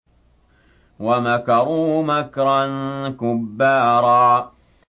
وَمَكَرُوا مَكْرًا كُبَّارًا